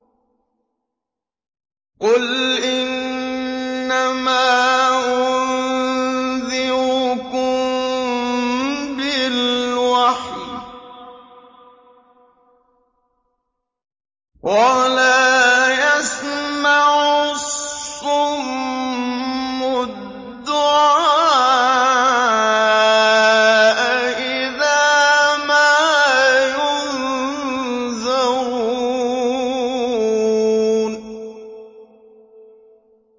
قُلْ إِنَّمَا أُنذِرُكُم بِالْوَحْيِ ۚ وَلَا يَسْمَعُ الصُّمُّ الدُّعَاءَ إِذَا مَا يُنذَرُونَ